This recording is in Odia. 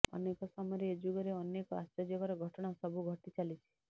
ଅନେକ ସମୟରେ ଏ ଯୁଗରେ ଅନେକ ଆଶ୍ଚର୍ଯ୍ୟକର ଘଟଣା ସବୁ ଘଟିଚାଲିଛି